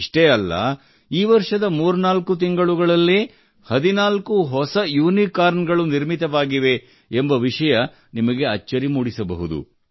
ಇಷ್ಟೇ ಅಲ್ಲ ಈ ವರ್ಷದ 34 ತಿಂಗಳುಗಳಲ್ಲೇ 14 ಹೊಸ ಯುನಿಕಾರ್ನ್ ಗಳು ನಿರ್ಮಿತವಾಗಿವೆ ಎಂಬ ವಿಷಯ ನಿಮಗೆ ಅಚ್ಚರಿ ಮೂಡಿಸಬಹುದು